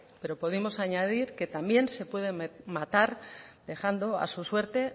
pero podemos añadir que también se puede matar dejando a su suerte